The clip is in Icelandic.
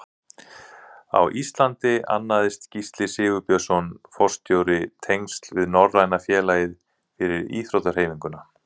Á Íslandi annaðist Gísli Sigurbjörnsson forstjóri tengsl við Norræna félagið fyrir íþróttahreyfinguna.